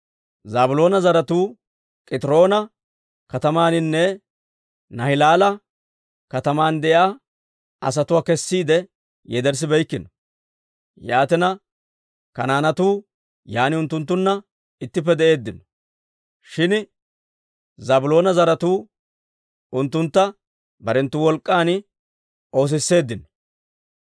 Zaabiloona zaratuu K'itiroona katamaaninne Naahilaala kataman de'iyaa asatuwaa kessiide yederssibeykkino; yaatina, Kanaanetuu yaan unttunttunna ittippe de'eeddino. Shin Zaabiloona zaratuu unttunttu barenttu wolk'k'an oosisseddino.